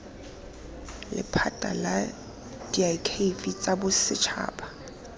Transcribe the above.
lephata la diakhaefe tsa bosetšhaba